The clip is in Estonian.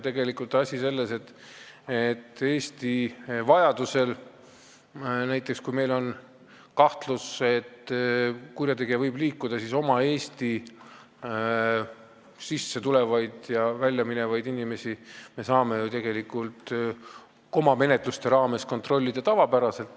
Tegelikult on asi selles, et Eesti saab vajadusel, kui meil on kahtlus, et kurjategija võib liikuda, sissetulevaid ja väljaminevaid inimesi oma menetluste raames kontrollida.